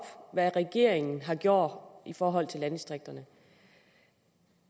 hvad regeringen har gjort i forhold til landdistrikterne